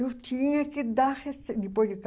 Eu tinha que dar rece, depois de ca